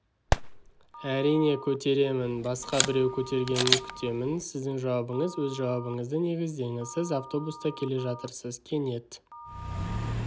әрине көтеремін басқа біреу көтергенін күтемін сіздің жауабыңыз өз жауабыңызды негіздеңіз сіз автобуста келе жатырсыз кенет